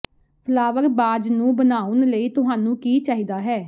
flower vase ਨੂੰ ਬਣਾਉਣ ਲਈ ਤੁਹਾਨੂੰ ਕੀ ਚਾਹੀਦਾ ਹੈ